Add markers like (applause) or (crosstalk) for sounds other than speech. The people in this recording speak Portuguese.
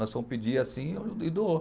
Nós fomos pedir assim (unintelligible) e doou.